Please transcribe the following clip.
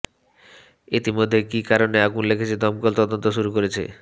ইতিমধ্যেই কি কারণে আগুন লেগেছে দমকল তদন্ত শুরু করেছে